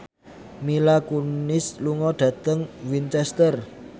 Mila Kunis lunga dhateng Winchester